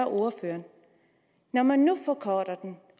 ordføreren når man nu forkorter den